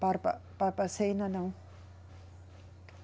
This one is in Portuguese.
Barba, Barbacena, não.